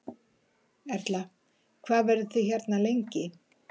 Erla: Hvað verðið þið hérna lengi?